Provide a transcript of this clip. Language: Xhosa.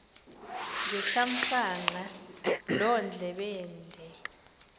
ngethamsanqa loo ndlebende